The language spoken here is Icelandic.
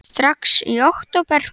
Brynja: Strax í október?